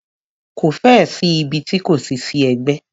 Ko fẹ́ ẹ̀ sí ibi ti kò ti sí ẹgbẹ́.